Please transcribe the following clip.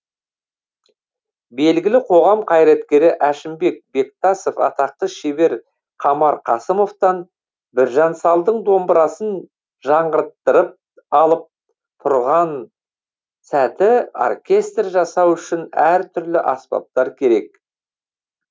белгілі қоғам қайраткері әшімбек бектасов атақты шебер қамар қасымовтан біржан салдың домбырасын жаңғырттырып алып тұрған сәті оркестр жасау үшін әртүрлі аспаптар керек